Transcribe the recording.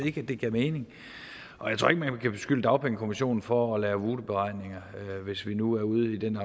ikke det gav mening og jeg tror ikke man kan beskylde dagpengekommissionen for at lave voodooberegninger hvis vi nu er ude i den